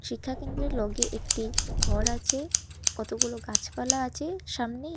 শিক্ষাকেন্দ্রের লগে একটি ঘর আছে কতগুলো গাছপালা আছে সামনে--